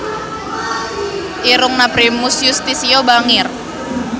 Irungna Primus Yustisio bangir